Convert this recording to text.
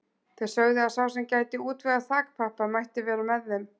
Þeir sögðu að sá sem gæti útvegað þakpappa mætti vera með þeim.